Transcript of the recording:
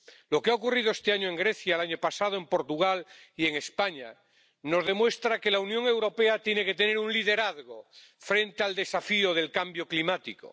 Lo que ha ocurrido este año en Grecia, y el año pasado en Portugal y en España, nos demuestra que la Unión Europea tiene que tener un liderazgo frente al desafío del cambio climático.